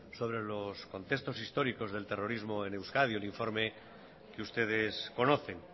sobre los contextos históricos del terrorismo en euskadi un informe que ustedes conocen